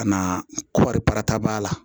Ka na kɔripara taab'a la